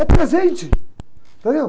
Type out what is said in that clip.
É presente, entendeu?